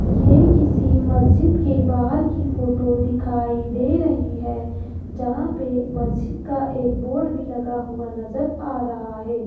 ये किसी मस्जिद के बाहर की फोटो दिखाई दे रही है जहां पे मस्जिद का एक बोर्ड भी लगा हुआ नजर आ रहा है।